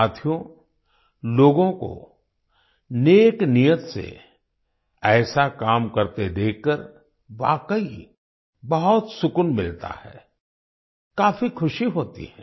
साथियो लोगों को नेक नीयत से ऐसा काम करते देखकर वाकई बहुत सुकून मिलता है काफी खुशी होती है